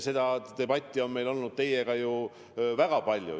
Seda debatti on meil teiega väga palju olnud.